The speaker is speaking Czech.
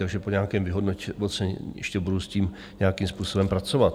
Takže po nějakém vyhodnocení ještě budu s tím nějakým způsobem pracovat.